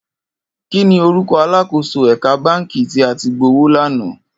Kini órúkò àlákósó èkà bànkí ti à ti gbówó lànã?